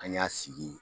An y'a sigi